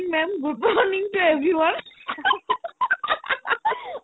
ma'am good morning to everyone